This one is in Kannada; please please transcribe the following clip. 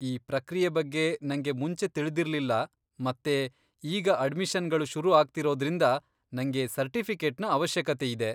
ಈ ಪ್ರಕ್ರಿಯೆ ಬಗ್ಗೆ ನಂಗೆ ಮುಂಚೆ ತಿಳಿದಿರ್ಲಿಲ್ಲ ಮತ್ತೇ ಈಗ ಅಡ್ಮಿಷನ್ಗಳು ಶುರುಆಗ್ತಿರೋದ್ರಿಂದ ನಂಗೆ ಸರ್ಟಿಫಿಕೇಟ್ನ ಅವಶ್ಯಕತೆಯಿದೆ.